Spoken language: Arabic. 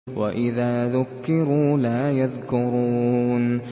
وَإِذَا ذُكِّرُوا لَا يَذْكُرُونَ